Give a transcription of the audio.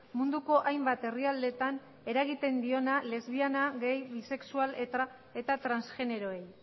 munduko hainbat herrialdetan eragiten diona lesbiana gay bisexual eta transgeneroei